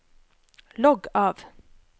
logg av